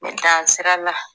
dansirala